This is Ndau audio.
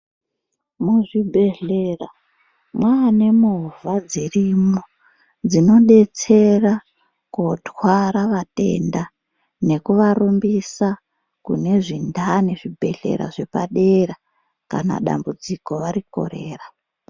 Muzvibhedhlera, mwanemovha dzirimo, dzinodetsera kotwara vatenda, nekuvarumbisa kune zvindani zvibhedhlera zvepadera kana dambudziko varikorera.